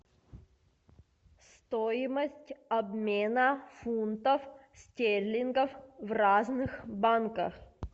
стоимость обмена фунтов стерлингов в разных банках